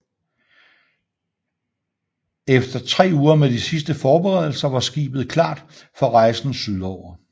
Efter tre uger med de sidste forberedelser var skibet klart for rejsen syd over